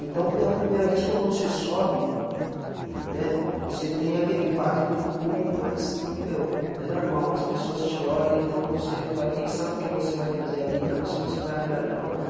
Então, pela primeira vez, quando você sobe, né, você tem aquele impacto do público, mas, meu, é normal, as pessoas te olham, então você vai pensar no que você vai fazer ali para ver se você vai agradar ou não.